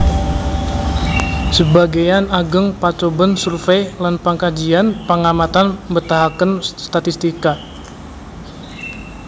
Sebagéyan ageng pacobèn survey lan pangkajian pangamatan mbetahaken statistika